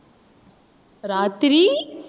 ராத்திரி